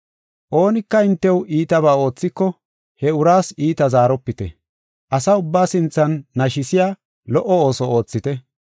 Oonika hintew iitabaa oothiko, he uraas iita zaaropite. Asa ubbaa sinthan nashisiya lo77o ooso oothite.